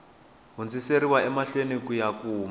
hundziseriwa emahlweni ku ya kuma